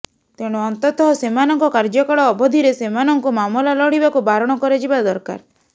ତେଣୁ ଅନ୍ତତଃ ସେମାନଙ୍କ କାର୍ଯ୍ୟକାଳ ଅବଧିରେ ସେମାନଙ୍କୁ ମାମଲା ଲଢ଼ିବାକୁ ବାରଣ କରାଯିବା ଦରକାର